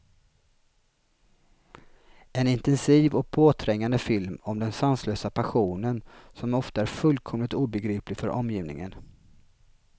En intensiv och påträngande film om den sanslösa passionen, som ofta är fullkomligt obegriplig för omgivningen.